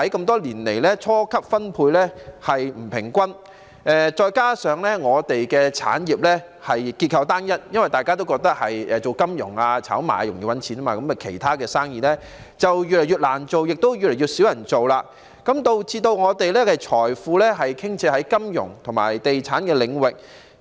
多年來，初級分配不平均，再加上我們的產業結構單一，因大家都覺得做金融、炒賣容易賺錢，其他生意就越來越難做，亦越來越少人做，導致我們的財富傾斜於金融和地產領域。